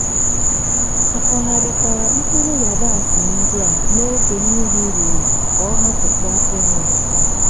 akọgharikwara mkpụrụ yabasị ndị a n'oge mmiri rụrụ ka ọ hapụ kwa inwu